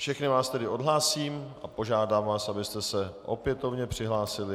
Všechny vás tedy odhlásím a požádám vás, abyste se opětovně přihlásili.